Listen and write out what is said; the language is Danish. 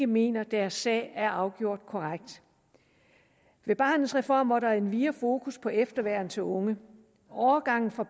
mener deres sag er afgjort korrekt ved barnets reform var der endvidere fokus på efterværn til unge overgangen fra